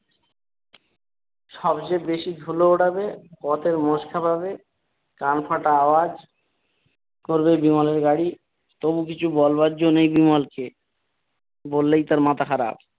সব চেয়ে বেশি ধুলো ওড়াবে পথের মোষ ক্ষেপাবে, কান ফাটা আওয়াজ করবে বিমলের গাড়ি, তবু কিছু বলবার যো নেই বিমল কে। বললেই তার মাথা খারাপ